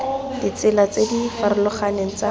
ditsela tse di farologaneng tsa